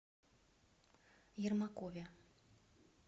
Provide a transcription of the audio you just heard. ермакове